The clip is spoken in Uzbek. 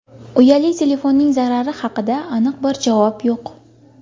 Uyali telefonning zarari haqida aniq bir javob yo‘q.